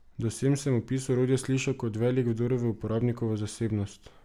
Do sem se opis orodja sliši kot velik vdor v uporabnikovo zasebnost.